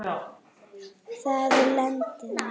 Það er landið mitt!